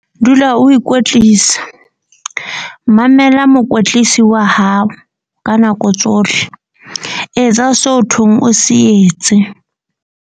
Dula o ikwetlisa. Mamela mokwetlisi wa hao ka nako tsohle. Etsa so thweng o se etse.